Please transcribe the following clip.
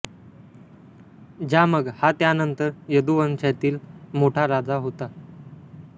ज्यामघ हा त्यानंतर यदु वंशातील मोठा राजा होता